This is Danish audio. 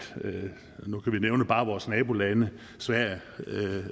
bare nævne vores nabolande sverige